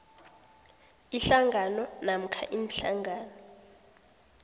ihlangano namkha iinhlangano